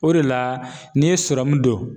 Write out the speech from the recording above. O de la n'i ye don